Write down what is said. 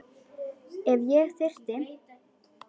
Ef ég þyrfti.